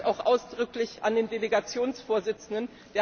Ich sage das auch ausdrücklich an den Delegationsvorsitzenden.